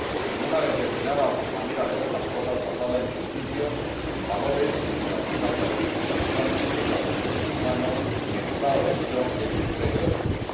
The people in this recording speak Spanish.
sino una determinada manera de ver las cosas, basada en principios, en valores, en la democracia representativa, en el respeto de los derechos humanos, en el Estado de Derecho y en el imperio de la ley.